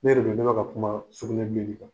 Ne de don, n bola ka kuma sugunɛbilenin kan.